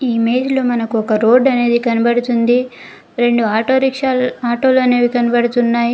ఈ ఇమేజ్ లో మనకొక రోడ్ అనేది కనపడుతుంది రెండు ఆటో రిక్షాలు ఆటో లనేవి కనపడుతున్నాయి.